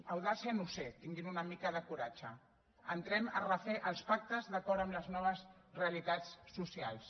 audàcia no ho sé tinguin una mica de coratge entrem a refer els pactes d’acord amb les noves realitats socials